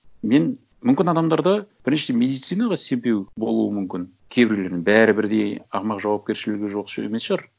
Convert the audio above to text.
мен мүмкін адамдар да біріншіден медицинаға сенбеуі болуы мүмкін кейбірлерінің бәрі бірдей ақымақ жауапкершілігі жоқ емес шығар